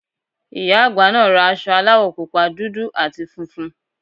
Ìyá àgbà naa ra aṣọ aláwọ̀ pupa, dúdú àti funfun